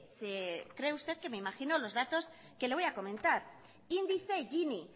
se cree usted que me imagino los datos que le voy a comentar índice gini